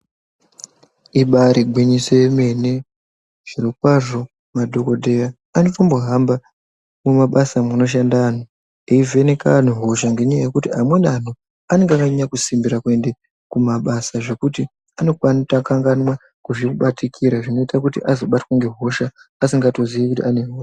Ibaari gwinyise yemene. Zviro kwazvo madhokodheya ari kumbohamba mumabasa munoshanda antu eivheneka antu hosha. Ngenyaya yekuti, amweni acho anenge akasimbirira kuenda kumabasa zvekuti anokanganwa kuzvibatikira zvinoita kuti azobatwa ngehosha asingatozivi kuti ane hosha.